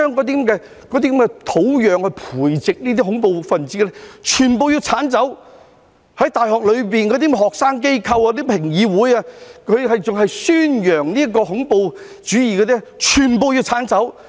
便是要將培植這些"恐怖分子"的土壤全部剷走，大學的學生機構、評議會還在宣揚恐怖主義，全部都要剷走。